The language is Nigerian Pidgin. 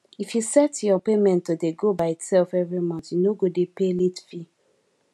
if you set your payment to dey go by itself every month you no go dey pay late fee